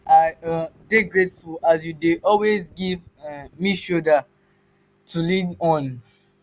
i um dey grateful as you dey always give um me shoulder um to lean on.